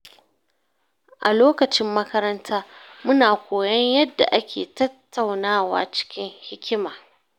A lokacin makaranta, muna koyon yadda ake tattaunawa cikin hikima.